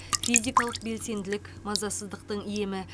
физикалық белсенділік мазасыздықтың емі